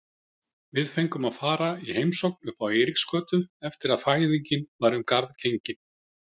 Við fengum að fara í heimsókn uppá Eiríksgötu eftir að fæðingin var um garð gengin.